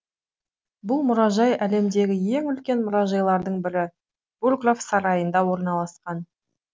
бұл мұражай әлемдегі ең үлкен мұражайлардың бірі бурграф сарайында орналасқан